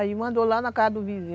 Aí mandou lá na casa do vizinho.